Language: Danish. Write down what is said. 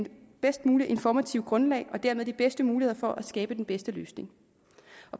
bedst mulige informative grundlag og dermed de bedste muligheder for at skabe den bedste løsning